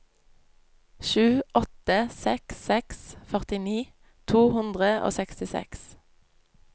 sju åtte seks seks førtini to hundre og sekstiseks